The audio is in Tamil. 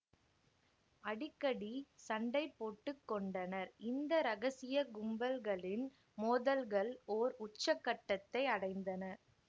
அடிக்கடி சண்டை போட்டு கொண்டனர் இந்த இரகசிய கும்பல்களின் மோதல்கள் ஓர் உச்ச கட்டத்தை அடைந்தன